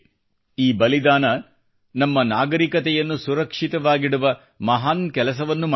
ಈ ಬಲಿದಾನ ನಮ್ಮ ನಾಗರಿಕತೆಯನ್ನು ಸುರಕ್ಷಿತವಾಗಿಡುವ ಮಹಾನ್ ಕೆಲಸವನ್ನು ಮಾಡಿದೆ